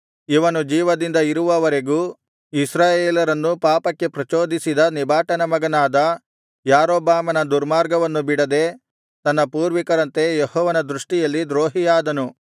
ಇವನು ಜೀವದಿಂದ ಇರುವವರೆಗೂ ಇಸ್ರಾಯೇಲರನ್ನು ಪಾಪಕ್ಕೆ ಪ್ರಚೋದಿಸಿದ ನೆಬಾಟನ ಮಗನಾದ ಯಾರೊಬ್ಬಾಮನ ದುರ್ಮಾರ್ಗವನ್ನು ಬಿಡದೆ ತನ್ನ ಪೂರ್ವಿಕರಂತೆ ಯೆಹೋವನ ದೃಷ್ಟಿಯಲ್ಲಿ ದ್ರೋಹಿಯಾದನು